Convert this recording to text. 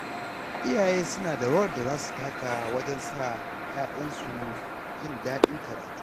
Iyaye suna da rawar da za su taka wajen sa ‘ya’yansu jin daɗin karatu.